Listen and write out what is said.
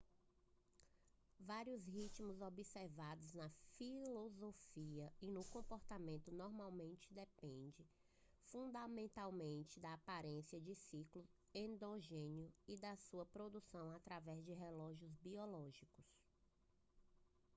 vários ritmos observados na fisiologia e no comportamento normalmente dependem fundamentalmente da presença de ciclos endógenos e da sua produção através de relógios biológicos